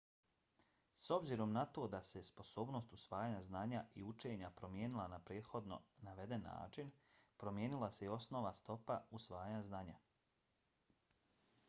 s obzirom na to da se sposobnost usvajanja znanja i učenja promijenila na prethodno naveden način promijenila se i osnovna stopa usvajanja znanja